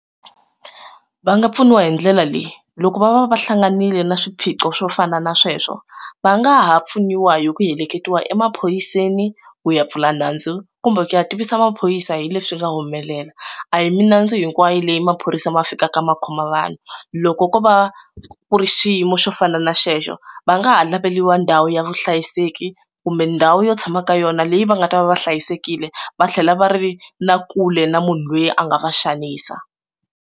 Va nga pfuniwa hi ndlela leyi loko va va va hlanganile na swiphiqo swo fana na sweswo va nga ha pfuniwa hi ku heleketiwa emaphoriseni ku ya pfula nandzu kumbe ku ya tivisa maphorisa hi leswi nga humelela a hi minandzu hinkwayo leyi ma phorisa ma fikaka ma khoma vanhu loko ko va ku ri xiyimo xo fana na xexo va nga ha laveliwa ndhawu ya vuhlayiseki kumbe ndhawu yo tshama ka yona leyi va nga ta va va hlayisekile va tlhela va ri na kule na munhu loyi a nga va xanisa.